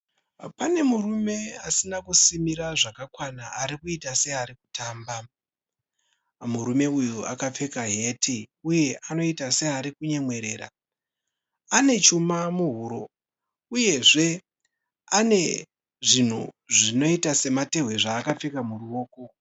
Pane murume asina kusimira zvakakwana arikuita seari kutamba. Murume uyu akapfeka heti uye anoita seari kunyemwerera. Ane chuma muhuro uyezve ane zvinhu zvinoita sematehwe zvaakapfeka muruoko.